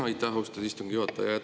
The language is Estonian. Aitäh, austatud istungi juhataja!